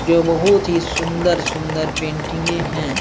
जो बहुत ही सुन्दर-सुन्दर पैंटिंगे हैं।